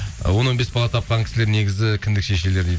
і он он бес бала тапқан кісілер негізі кіндік шешелер